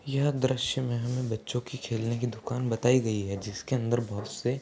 यह दृश्य मे हमें बच्चों के खेलने की दुकान बताई गई है जिसके अंदर बहोत से --